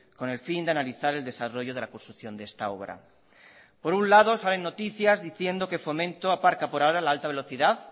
con el fin de analizar el desarrollo de la construcción de esta obra por un lado salen noticias diciendo que fomento aparca por ahora la alta velocidad